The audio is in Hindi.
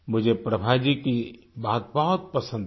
मुझे प्रभा जी की बात बहुत पसंद आई